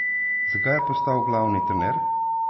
Zakaj je postal glavni trener?